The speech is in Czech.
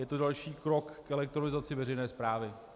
Je to další krok k elektronizaci veřejné správy.